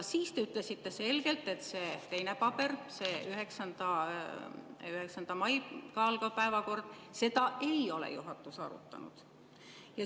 Siis te ütlesite selgelt, et seda teist paberit, seda 9. maiga algavat päevakorda ei ole juhatus arutanud.